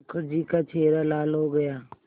मुखर्जी का चेहरा लाल हो गया